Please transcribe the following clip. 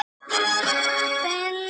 Benedikta, spilaðu lag.